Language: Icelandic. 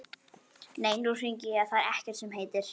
Nei, nú hringi ég, það er ekkert sem heitir!